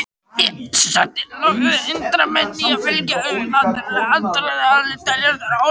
Og sett lög sem hindra menn í að fylgja þessu náttúrulega aðdráttarafli teljast vera ólög.